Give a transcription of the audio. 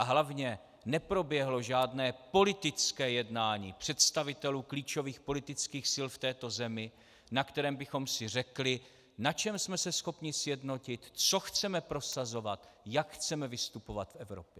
A hlavně neproběhlo žádné politické jednání představitelů klíčových politických sil v této zemi, na kterém bychom si řekli, na čem jsme se schopni sjednotit, co chceme prosazovat, jak chceme vystupovat v Evropě.